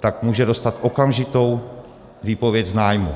tak může dostat okamžitou výpověď z nájmu.